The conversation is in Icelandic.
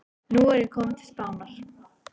Nú er ég kominn til Spánar.